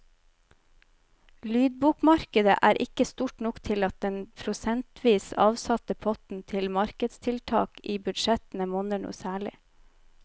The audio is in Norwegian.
Lydbokmarkedet er ikke stort nok til at den prosentvis avsatte potten til markedstiltak i budsjettene monner noe særlig.